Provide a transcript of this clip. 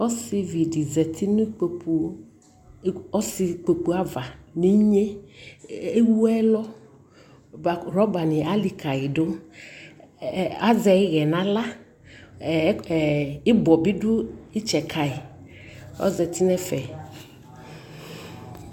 Ɔsivi di zati nu ɔsi kpoku ava ni nye Ɛwu ɛlɔRɔba ni alikali du Azɛ iɣɛ na ɣla Ibɔ bi du itsɛ ka yi Ɔzati nɛ fɛ